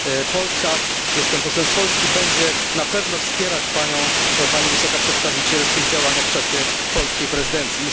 Polska, jestem posłem z Polski, będzie na pewno wspierać Panią, Pani Wysoka Przedstawiciel w tych działaniach w czasie polskiej prezydencji.